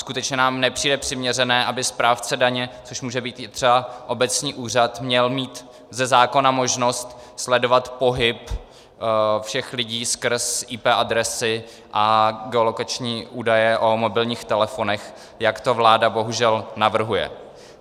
Skutečně nám nepřijde přiměřené, aby správce daně, což může být i třeba obecní úřad, měl mít ze zákona možnost sledovat pohyb všech lidí skrz IP adresy a geolokační údaje o mobilních telefonech, jak to vláda bohužel navrhuje.